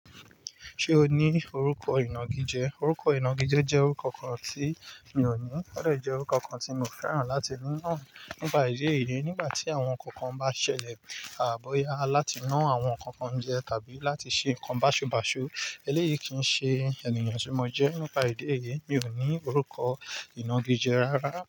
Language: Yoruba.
Ṣé o ní orúkọ ìnagijẹ? Orúkọ ìnagijẹ jẹ́ orúkọ kan tí mi ò ní, ó dẹ̀ jẹ́ orúkọ kan tí mo fẹ́ràn láti rán nípa ìdí èyí nígbà tí àwọn nǹkan kan bá ṣẹlẹ̀, a bọ́yá láti ná àwọn nǹkan kan jẹ tàbí láti ṣe nǹkan báṣubàṣu. Eléyìí kì í ṣe ènìyàn tí mo jẹ́ nípa ìdí èyí, mi ò ní orúkọ ìnagijẹ rárá.